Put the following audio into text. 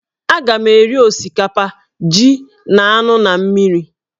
Agam eri osikapa, ji, na anụ na mmiri